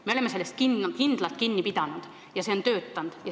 Me oleme sellest kindlalt kinni pidanud ja see on töötanud.